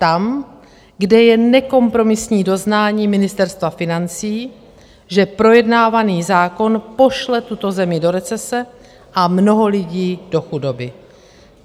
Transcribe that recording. Tam, kde je nekompromisní doznání Ministerstva financí, že projednávaný zákon pošle tuto zemi do recese a mnoho lidí do chudoby.